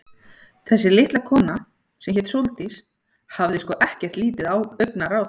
Þessi litla kona, sem hét Sóldís, hafði sko ekkert lítið augnaráð.